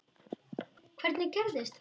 Hvernig gerðist þetta?